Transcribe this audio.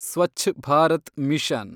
Swachh Bharat mission